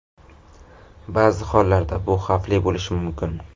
Ba’zi hollarda bu xavfli bo‘lishi mumkin.